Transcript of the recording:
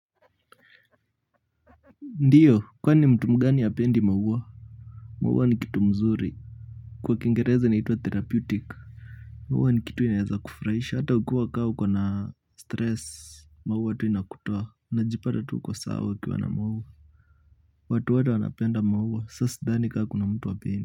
Ndiyo kwani mtu mgani hapendi maua maua ni kitu mzuri kwa Kiingereza inaitwa therapeutic maua ni kitu inaeza kufurahisha hata ukue ka uko na stress maua tu inakutoa unajipata tu uko sawa ukiwa na maua watu wote wanapenda maua saa sidhani kaa kuna mtu hapendi.